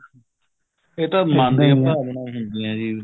ਇਹ ਤਾਂ ਮਨ ਦੀਆਂ ਭਾਵਨਾਵਾਂ ਹੁੰਦੀਆਂ ਜੀ